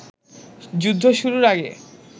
যুদ্ধ শুরুর আগে